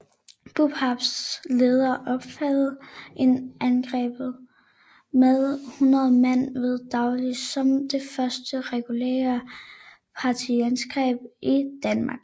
BOPAs leder opfattede angrebet med 100 mand ved dagslys som det første regulære partisanangreb i Danmark